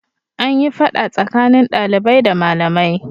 An yi fada tsakanin dalibai da malamai.